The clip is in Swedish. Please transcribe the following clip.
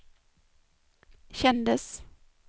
kändes